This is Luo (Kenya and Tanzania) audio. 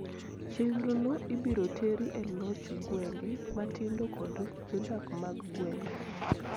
Chenro no ibiro teri e loch gwenge matindo kod jodak mag gwenge